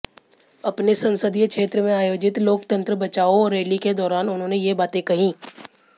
अपने संसदीय क्षेत्र में आयोजित लोकतंत्र बचाओ रैली के दौरान उन्होंने ये बातें कहीं